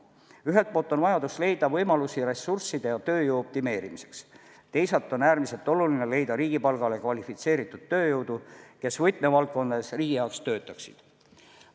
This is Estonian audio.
Ühelt poolt on vajadus leida võimalusi ressursside ja tööjõu optimeerimiseks, teisalt on äärmiselt oluline leida riigipalgale kvalifitseeritud tööjõudu, kes võtmevaldkondades riigi jaoks töötaksid.